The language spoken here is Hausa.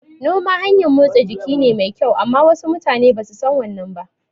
Noma hanyan motsa jiki ne mai kyau amma wasu mutane basu san wannan ba